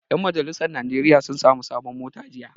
Ƴan majalisar najeriya sun sami sabon mota jiya